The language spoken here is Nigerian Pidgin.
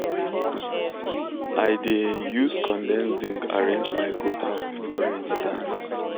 i um da use condem zinc arrange my goat house before rain start